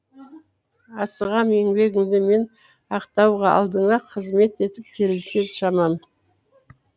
асығам еңбегіңді мен ақтауға алдыңда қызмет етіп келсе шамам